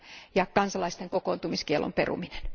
ja kansalaisten kokoontumiskiellon peruminen.